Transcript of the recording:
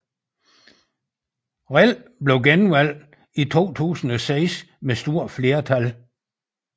Rell blev genvalgt i 2006 med stort flertal